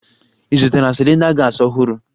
Ị zụtara cylinder gas ọhụrụ?